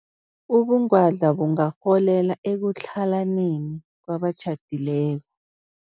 Ubungwadla bungarholela ekutlhalaneni kwabatjhadileko.